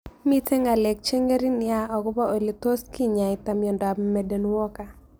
Mito ng'alek cheng'ering' nea akopo ole tos kinyaita miondop Marden Walker